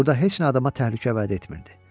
Burda heç nə adama təhlükə vəd etmirdi.